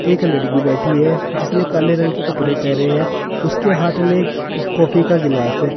एक लड़की बैठी है जिसने काले रंग के कपड़े पहने हैं उसके हाथ में कॉफी का गिलास है।